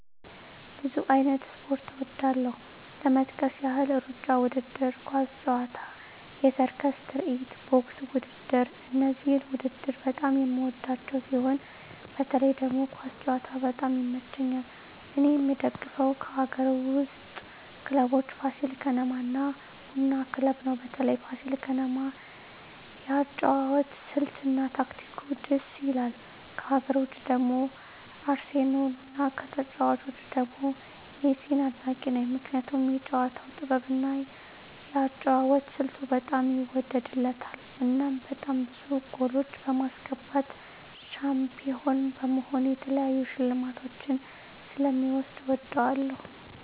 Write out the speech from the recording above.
ብዙ አይነት ስፖርት እወዳለሁ ለመጥቀስ ያህል እሩጫ ውድድር፣ ኳስ ጨዋታ፣ የሰርከስ ትርኢት፣ ቦክስ ውድድር እነዚህን ውድድር በጣም የምወዳቸው ሲሆን በተለይ ደግሞ ኳስ ጨዋታ በጣም ይመቸኛል እኔ የምደግፈው ከአገር ውስጥ ክለቦች ፋሲል ከነማ እና ቡና ክለብ ነው በተለይ ፋሲል ከነማ የአጨዋወት ስልት እና ታክቲኩ ድስ ይላል ከሀገር ውጭ ደግሞ ባርሴሎና ከተጫዋቾቹ ደግሞ ሜሲን አድናቂ ነኝ ምክንያቱም የጨዋታው ጥበብ እና የአጨዋወት ስልቱ በጣም ይወደድለታል እናም በጣም ብዙ ጎሎች በማስገባት ሻንፒሆን በመሆን የተለያዩ ሽልማቶችን ስለ ሚወስድ እወደዋለሁ።